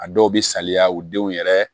A dɔw bɛ saliya u denw yɛrɛ